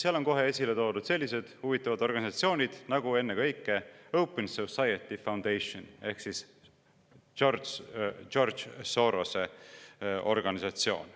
Seal on esile toodud sellised huvitavad organisatsioonid nagu ennekõike Open Society Foundations ehk George Sorose organisatsioon.